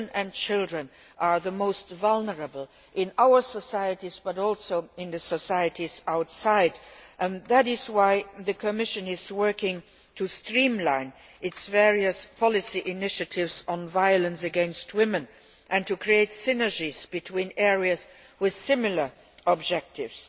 Women and children are the most vulnerable in our societies but also in the societies outside, and that is why the Commission is working to streamline its various policy initiatives on violence against women and to create synergies between areas with similar objectives.